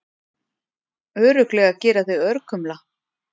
Örugglega gera þig örkumla.